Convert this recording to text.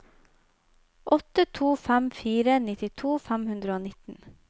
åtte to fem fire nittito fem hundre og nitten